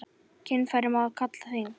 Kynfæri má kalla þing.